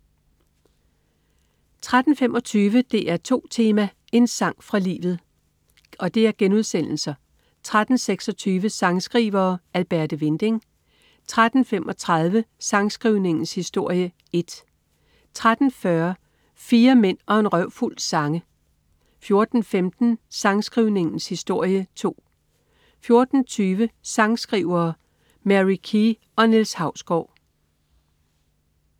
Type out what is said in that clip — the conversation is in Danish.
13.25 DR2 Tema: En sang fra livet* 13.26 Sangskrivere: Alberte Winding* 13.35 Sangskrivningens historie 1* 13.40 Fire mænd og en røvfuld sange* 14.15 Sangskrivningens historie 2* 14.20 Sangskrivere: Marie Key og Niels Hausgaard*